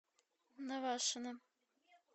навашино